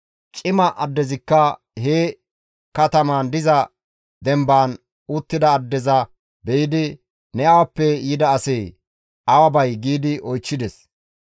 Cima addezikka he katamaan diza dembaan uttida addeza be7idi, «Ne awappe yida asee? Awa bay?» giidi oychchides.